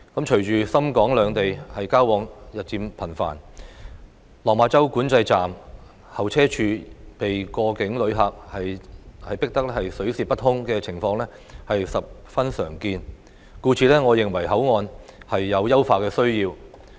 隨着港深兩地交往日漸頻繁，落馬洲管制站候車處被過境旅客擠得水泄不通的情況十分常見，故此我認為口岸有優化的需要。